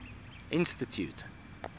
institute